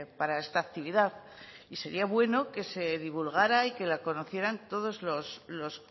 para esta actividad y sería bueno que se divulgara y que la conocieran todos los